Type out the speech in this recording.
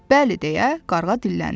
Bəli, deyə qarğa dilləndi.